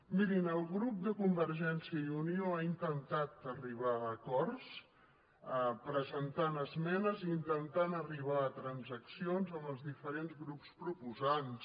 mirin el grup de convergència i unió ha intentat ar·ribar a acords presentant esmenes i intentant arribar a transaccions amb els diferents grups proposants